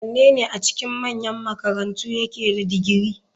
Wanene a cikin manyan makarantu yake da digiri?